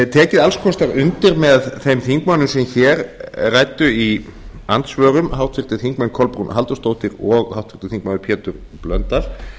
tekið alls kostar undir með þeim þingmönnum sem hér ræddu í andsvörum háttvirtur þingmaður kolbrúnu halldórsdóttur og háttvirtur þingmaður péturs h blöndal